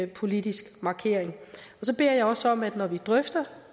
politisk markering så beder jeg også om at vi når vi drøfter